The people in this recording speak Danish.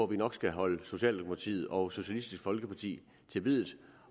vi nok skal holde socialdemokratiet og socialistisk folkeparti til biddet